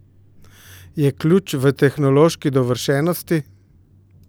Je ključ v tehnološki dovršenosti?